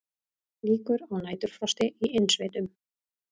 Líkur á næturfrosti í innsveitum